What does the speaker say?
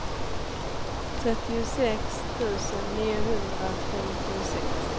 trettiosex tusen niohundrafemtiosex